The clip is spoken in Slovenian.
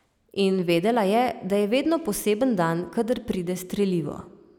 In vedela je, da je vedno poseben dan kadar pride strelivo.